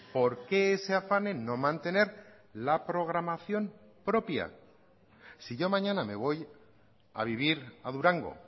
por qué ese afán en no mantener la programación propia si yo mañana me voy a vivir a durango